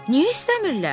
Niyə istəmirlər?